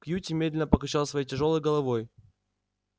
кьюти медленно покачала своей тяжёлой головой